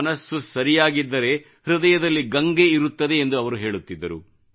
ಮನಸು ಸರಿಯಾಗಿದ್ದರೆ ಹೃದಯದಲ್ಲಿ ಗಂಗೆ ಇರುತ್ತದೆ ಎಂದು ಅವರು ಹೇಳುತ್ತಿದ್ದರು